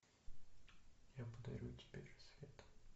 я подарю тебе рассвет